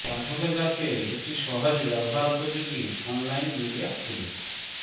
পাঠকের কাছে একটি সহজ ব্যবহার উপযোগী অনলাইন মিডিয়া তুলে